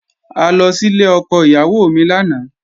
A lọ sílé ọkọ ìyá mi lánàá